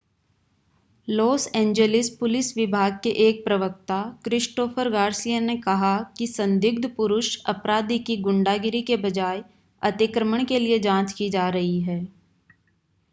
loss Angeles police विभाग के एक प्रवक्ता क्रिस्टोफर गार्सिया ने कहा कि संदिग्ध पुरुष अपराधी की गुंडागिरी के बजाय अतिक्रमण के लिए जांच की जा रही है